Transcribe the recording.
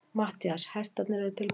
MATTHÍAS: Hestarnir eru tilbúnir.